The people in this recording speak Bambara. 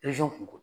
kun